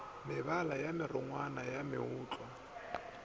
mebala ye merongwana ya mootlwa